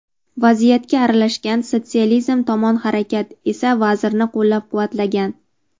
Vaziyatga aralashgan "Sotsializm tomon harakat" esa vazirni qo‘llab-quvvatlagan.